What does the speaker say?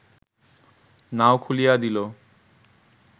নাও খুলিয়া দিল